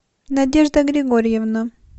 надежда григорьевна